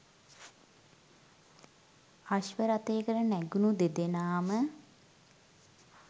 අශ්ව රථයකට නැගුණු දෙදෙනාම